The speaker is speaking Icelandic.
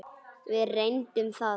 Við reyndum það.